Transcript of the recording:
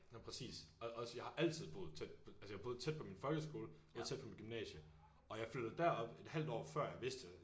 Ja præcis og også fordi jeg altid boet tæt på altså jeg boede tæt på min folkeskole boede tæt på mit gymnasie og jeg flyttede derop et halvt år før jeg vidste